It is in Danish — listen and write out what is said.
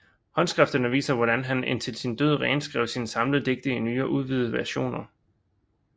Håndskrifterne viser hvordan han indtil til sin død renskrev sine samlede digte i nye og udvidede versioner